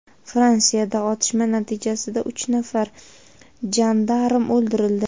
Fransiyada otishma natijasida uch nafar jandarm o‘ldirildi.